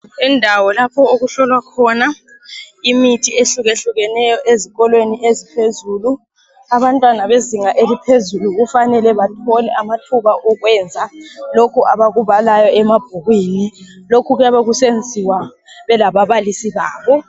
Indawo lapho okuhlolwa khona imithi eyehlukahlukeneyo ezikolweni eziphezulu . Abantwana bezinga eliphezulu kufanele bathole amathuba okwenza lokho abakubalayo emabhukwini .Lokhu kuyabe kusenziwa belababalisi babo.